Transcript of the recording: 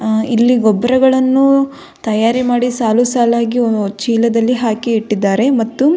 ಅ ಇಲ್ಲಿ ಗೊಬ್ಬರಗಳನ್ನು ತಯಾರಿ ಮಾಡಿ ಸಾಲು ಸಾಲಾಗಿ ಚೀಲದಲ್ಲಿ ಹಾಕಿ ಇಟ್ಟಿದ್ದಾರೆ ಮತ್ತು --